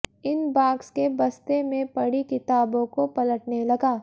inbox के बस्ते में पड़ी किताबों को पलटने लगा